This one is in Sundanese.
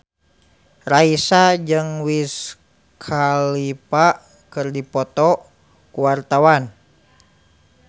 Raisa jeung Wiz Khalifa keur dipoto ku wartawan